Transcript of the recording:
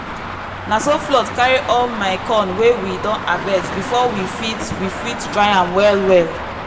na so flood carry all the corn wey we don harvest before we fit we fit dry am well-well.